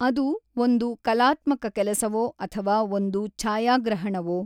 ಅದು ಒಂದು ಕಲಾತ್ಮಕ ಕೆಲಸವೋ ಅಥವಾ ಒಂದು ಛಾಯಾಗ್ರಹಣವೋ?